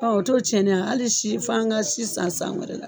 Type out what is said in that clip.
Ɔ o to tiɲɛnen hali si' f'an ka si san san wɛrɛ la.